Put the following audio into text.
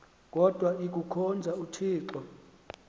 kodwa ikuhkhonza uthixo